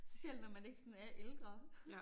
Specielt når man ikke sådan er ældre